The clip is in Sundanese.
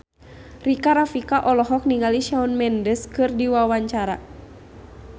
Rika Rafika olohok ningali Shawn Mendes keur diwawancara